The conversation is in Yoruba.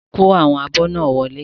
Kó àwọn abọ́ náà Wọlé.